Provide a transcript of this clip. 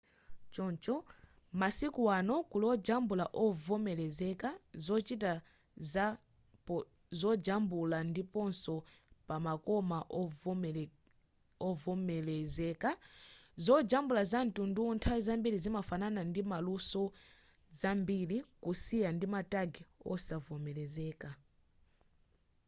choncho masiku ano kuli ojambula ovomelezeka zochitika za zojambula ndiponso pamakoma ovomelezeka zojambula zamtunduwu nthawi zambiri zimafanana ndi maluso zambiri kusiyana ndi ma tag osavomelezeka